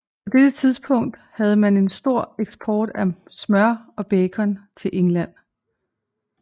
På dette tidspunkt havde man en stor eksport af smør og bacon til England